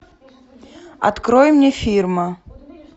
открой мне фирма